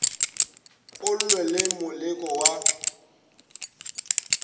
o lwe le moleko wa